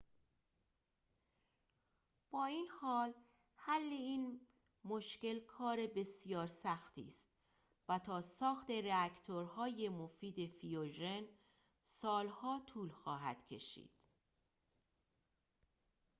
با این حال حل این مشکل کار بسیار سختی است و تا ساخت راکتورهای مفید فیوژن سال‌ها طول خواهد کشید